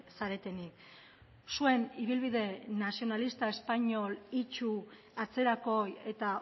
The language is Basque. zaretenik zuen ibilbide nazionalista espainol itsu atzerakoi eta